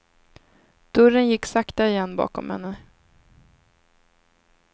Dörren gick sakta igen bakom henne.